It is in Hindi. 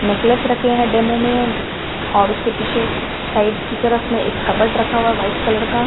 नेकलेस रखे हैं डेमो में और उसके पीछे साइड की तरफ में एक कबर्ड रखा हुआ है वाइट कलर का।